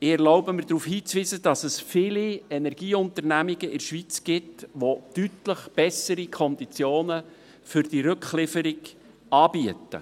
Ich erlaube mir, darauf hinzuweisen, dass es viele Energieunternehmungen in der Schweiz gibt, die deutlich bessere Konditionen für die Rücklieferung anbieten.